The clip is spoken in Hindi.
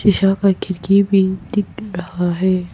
शीशा का खिड़की भी दिख रहा है।